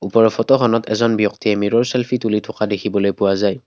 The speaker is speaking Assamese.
ওপৰৰ ফটোখনত এজন ব্যক্তিয়ে মিৰ'ৰ চেলফি তুলি থকা দেখিবলৈ পোৱা যায়।